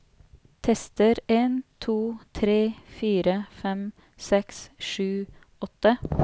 Tester en to tre fire fem seks sju åtte